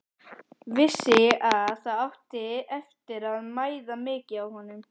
Vissi að það átti eftir að mæða mikið á honum.